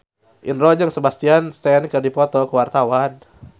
Indro jeung Sebastian Stan keur dipoto ku wartawan